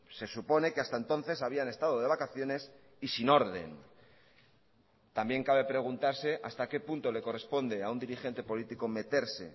se supone que hasta entonces habían estado de vacaciones y sin orden también cabe preguntarse hasta qué punto le corresponde a un dirigente político meterse